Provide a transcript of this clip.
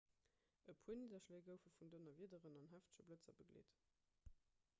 e puer nidderschléi goufe vun donnerwiederen an heefege blëtzer begleet